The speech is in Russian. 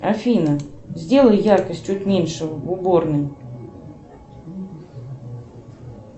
афина сделай яркость чуть меньше в уборной